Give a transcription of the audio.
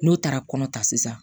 N'o taara kɔnɔ ta sisan